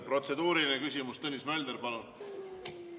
Protseduuriline küsimus, Tõnis Mölder, palun!